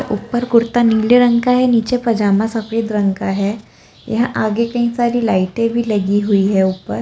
ऊपर कुर्ता नीले रंग का है नीचे पजामा सफेद रंग का है यहाँ आगे कहीं सारी लाइटें भी लगी हुई हैं ऊपर।